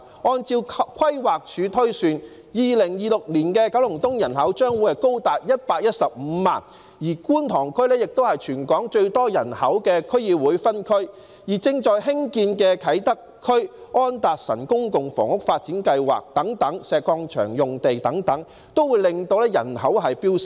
按照規劃署推算 ，2026 年的九龍東人口將高達115萬，觀塘區亦是全港最多人口的區議會分區，而正在興建的啟德發展區、安達臣道公共房屋發展計劃和石礦場用地發展等均會令人口飆升。